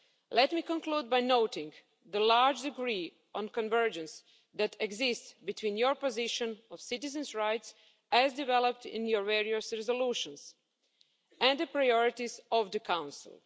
Let me conclude by noting the large degree of convergence that exists between your positions on citizens' rights as developed in your various resolutions and the priorities of the Council.